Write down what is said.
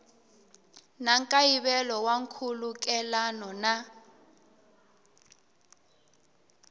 na nkayivelo wa nkhulukelano na